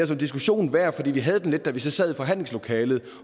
diskussion værd og vi havde den lidt da vi sad i forhandlingslokalet